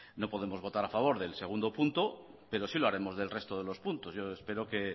no podemos votar a favor del segundo punto pero sí lo haremos del resto de los puntos yo espero que